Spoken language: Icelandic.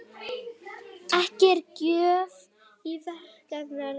Ekki er gjöf í kerlingareyranu.